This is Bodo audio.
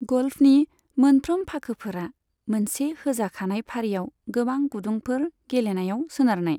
ग'ल्फनि मोनफ्रोम फाखोफोरा मोनसे होजाखानाय फारियाव गोबां गुदुंफोर गेलेनायाव सोनारनाय।